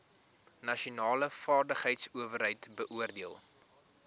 nasionale vaardigheidsowerheid beoordeel